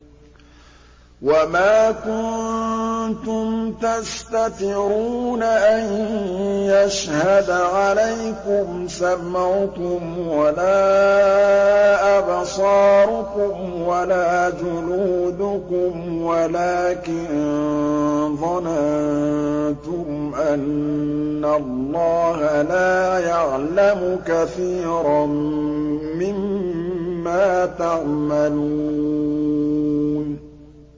وَمَا كُنتُمْ تَسْتَتِرُونَ أَن يَشْهَدَ عَلَيْكُمْ سَمْعُكُمْ وَلَا أَبْصَارُكُمْ وَلَا جُلُودُكُمْ وَلَٰكِن ظَنَنتُمْ أَنَّ اللَّهَ لَا يَعْلَمُ كَثِيرًا مِّمَّا تَعْمَلُونَ